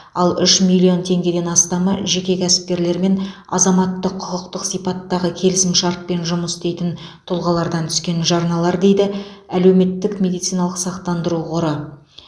ал үш миллион теңгеден астамы жеке кәсіпкерлер мен азаматтық құқықтық сипаттағы келісімшартпен жұмыс істейтін тұлғалардан түскен жарналар дейді әлеуметтік медициналық сақтандыру қоры